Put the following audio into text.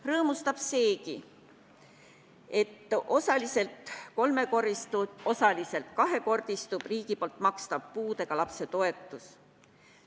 Rõõmustab seegi, et osaliselt kahekordistub riigi makstav puudega lapse toetus.